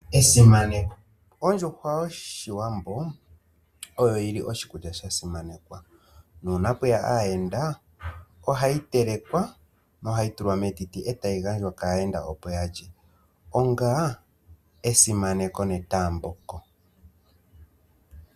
Esimaneko, Ondjuhwa yoshiwambo oyo yi li oshikulya sha simanekwa na una peya aayenda ohayi telekwa na ohayi tulwa metiti e tayi gandjwa ka yenda opo ya lye onga esimaneko ne taamboko.